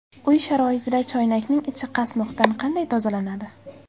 Uy sharoitida choynakning ichi qasmoqdan qanday tozalanadi?.